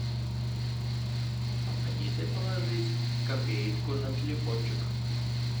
помогите положить копеечку на телефончик